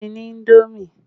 Fún mi ní indomi!